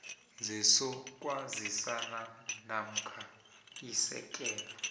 sezokwazisa namkha isekela